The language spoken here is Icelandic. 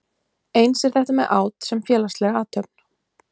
Eins er þetta með át sem félagslega athöfn.